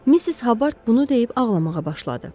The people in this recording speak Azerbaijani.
Missis Habard bunu deyib ağlamağa başladı.